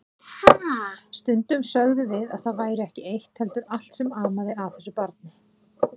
Stundum sögðum við að það væri ekki eitt heldur allt sem amaði að þessu barni.